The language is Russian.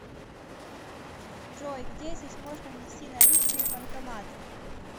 джой где здесь можно внести наличные в банкомат